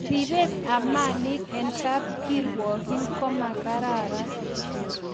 Repet ab malik eng kapkirwogiin komakararan